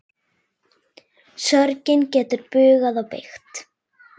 Sorgin getur bugað og beygt.